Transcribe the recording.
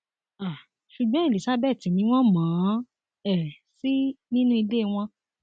um ṣùgbọn elizabeth ni wọn mọ ọn um sí nínú ilé wọn